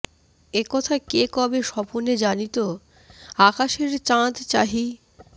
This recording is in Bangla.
এ কথা কে কবে স্বপনে জানিত আকাশের চাঁদ চাহি